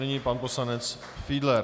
Nyní pan poslanec Fiedler.